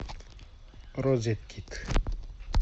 розеткид